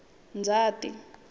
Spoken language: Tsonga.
ndzati